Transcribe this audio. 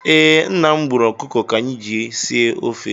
Ee, nna m gbùrù ọkụkọ ka anyị ji sie ofe